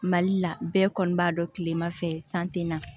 Mali la bɛɛ kɔni b'a dɔn kilema fɛ san te na